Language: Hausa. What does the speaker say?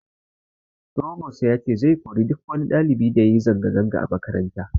Frobos ya ce zai kori duk wani ɗalibi da yayi zanga zanga a makaranta